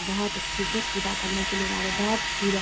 बोहत अच्छे से पूजा करने के लिए जा रहे हैं। बोहत भीड़ है।